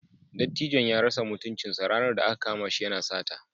Dattijon ya rasa mutuncinsa ranar da aka kama shi yana sata.